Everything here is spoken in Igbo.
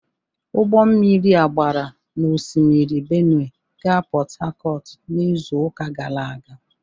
Ụgbọ mmiri a gbara n'osimiri Benue gaa Port Harcourt n'izuụka gara aga